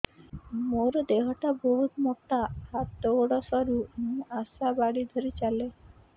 ମୋର ଦେହ ଟା ବହୁତ ମୋଟା ହାତ ଗୋଡ଼ ସରୁ ମୁ ଆଶା ବାଡ଼ି ଧରି ଚାଲେ